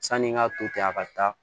Sanni n k'a to ten a ka taa